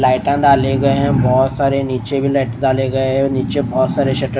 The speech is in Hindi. लाइटर डाले गए हैं बहोत सारे निचे भी लाइटर डाले गए हैं और नीचे बहोत सारे शटर --